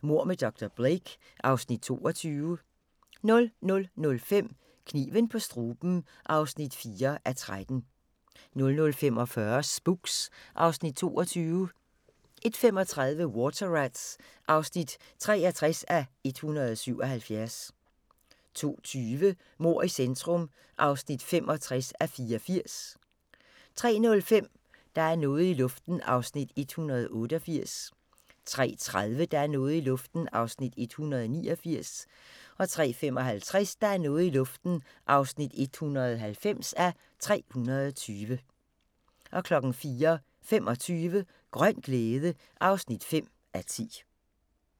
Mord med dr. Blake (Afs. 22)* 00:05: Kniven på struben (4:13) 00:45: Spooks (Afs. 22) 01:35: Water Rats (63:177) 02:20: Mord i centrum (65:84) 03:05: Der er noget i luften (188:320) 03:30: Der er noget i luften (189:320) 03:55: Der er noget i luften (190:320) 04:25: Grøn glæde (5:10)